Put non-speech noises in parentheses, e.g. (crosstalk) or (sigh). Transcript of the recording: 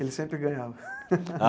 Ele sempre ganhava. (laughs)